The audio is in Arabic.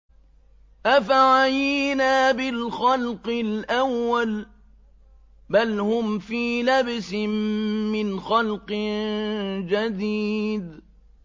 أَفَعَيِينَا بِالْخَلْقِ الْأَوَّلِ ۚ بَلْ هُمْ فِي لَبْسٍ مِّنْ خَلْقٍ جَدِيدٍ